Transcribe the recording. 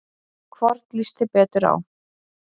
Hvorn líst þér betur á?